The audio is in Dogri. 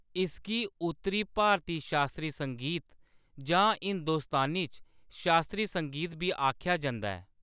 इसगी उत्तरी भारती शास्त्री संगीत जां हिंदुस्तानी च शास्त्री संगीत बी आखेआ जंदा ऐ।